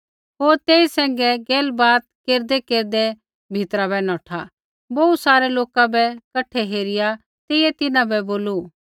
होर तेई सैंघै गैलबात केरदैकेरदै भीतरा बै नौठा बोहू सारै लोक बै कठै हेरिआ तेइयै तिन्हां बोलू